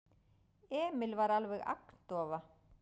Emil var alveg agndofa.